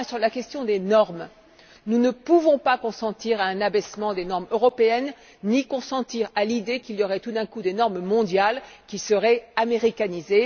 Enfin, sur la question des normes, nous ne pouvons pas consentir à un abaissement des normes européennes, ni accepter l'idée qu'il y aurait, tout d'un coup, des normes mondiales qui seraient américanisées.